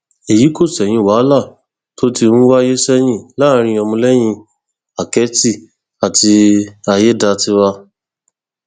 èyí kò ṣẹyìn wàhálà tó ti ń wáyé sẹyìn láàrin ọmọlẹyìn àkẹtì àti ayédáiwa